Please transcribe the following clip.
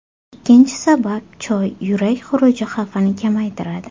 Ikkinchi sabab Choy yurak xuruji xavfini kamaytiradi.